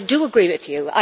I do agree with you.